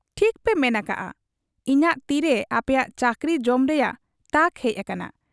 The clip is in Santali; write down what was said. ᱴᱷᱤᱠᱯᱮ ᱢᱮᱱ ᱟᱠᱟᱜ ᱟ ᱤᱧᱟᱜ ᱛᱤᱨᱮ ᱟᱯᱮᱯᱮᱭᱟ ᱪᱟᱹᱠᱨᱤ ᱡᱚᱢ ᱨᱮᱭᱟᱜ ᱛᱟᱠ ᱦᱮᱡ ᱟᱠᱟᱱᱟ ᱾